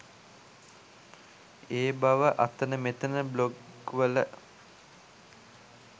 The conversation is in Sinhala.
ඒ බව අතන මෙතන බ්ලොග් වල